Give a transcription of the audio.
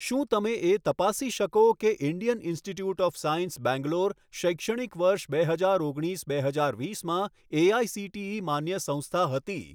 શું તમે એ તપાસી શકો કે Indian Institute of Science Bangalore શૈક્ષણિક વર્ષ બે હજાર ઓગણીસ બે હજાર વીસમાં એઆઇસીટીઈ માન્ય સંસ્થા હતી?